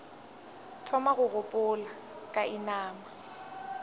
thoma go gopola ka inama